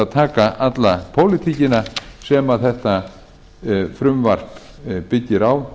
taka alla pólitíkina sem þetta frumvarp byggir á